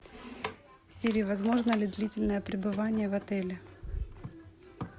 сири возможно ли длительное пребывание в отеле